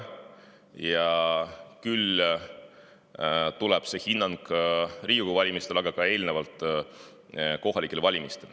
Ja küll tuleb ka see hinnang Riigikogu valimistel, nagu ka eelnevalt kohalikel valimistel.